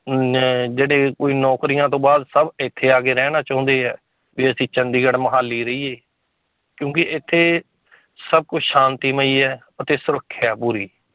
ਨਾ ਜਿਹੜੇ ਕੋਈ ਨੌਕਰੀਆਂ ਤੋਂ ਬਾਅਦ ਸਭ ਇੱਥੇ ਆ ਕੇ ਰਹਿਣਾ ਚਾਹੁੰਦੇ ਹੈ, ਵੀ ਅਸੀਂ ਚੰਡੀਗੜ੍ਹ ਮੁਹਾਲੀ ਰਹੀਏ ਕਿਉਂਕਿ ਇੱਥੇ ਸਭ ਕੁਛ ਸ਼ਾਂਤੀਮਈ ਹੈ ਅਤੇ ਸੁਰੱਖਿਆ ਹੈ ਪੂਰੀ।